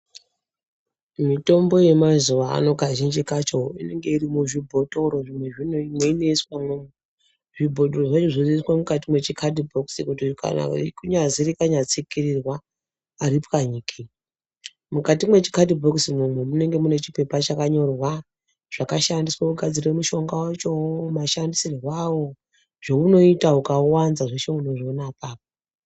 Mitombo yemazuvaano kazhinji kacho inenge iri muzvibhotoro meinoiswamwo zvibhotoro zvacho zvozoiswa mukati mechikadhibhokisi kuti kunyazi rikanyatsikirirwa haripwanyiki mukati mechikadhibhokisi chona ichocho munenge muine chipepa chakanyorwa mashandire aunoita mushonga zveunoita ukauwanza zveshe unozviona apapo.